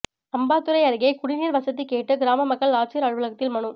அம்பாத்துரை அருகே குடிநீா் வசதி கேட்டுகிராம மக்கள் ஆட்சியா் அலுவலகத்தில் மனு